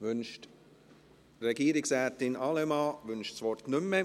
Wünscht Regierungsrätin Allemann das Wort – Sie wünscht das Wort nicht mehr.